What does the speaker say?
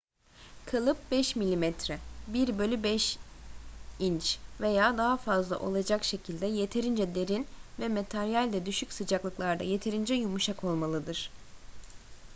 kalıp 5 mm 1/5 inç veya daha fazla olacak şekilde yeterince derin ve materyal de düşük sıcaklıklarda yeterince yumuşak olmalıdır